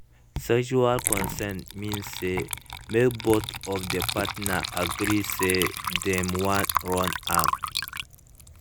everytime sti testing de help both of the partners from infection